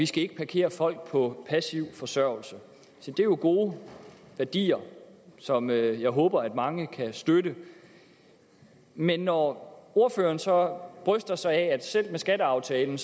skal parkere folk på passiv forsørgelse se det er jo gode værdier som jeg jeg håber at mange kan støtte men når ordføreren så bryster sig af at det selv med skatteaftalen